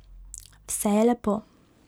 Vse je lepo.